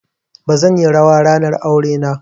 Bazan yi rawa ba ranar aure na.